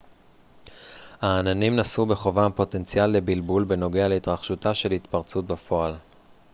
העננים נשאו בחובם פוטנציאל לבלבול בנוגע להתרחשותה של התפרצות בפועל